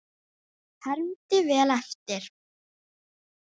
Hermdi vel eftir.